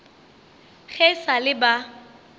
ge e sa le ba